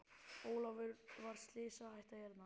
Ólafur er slysahætta hérna?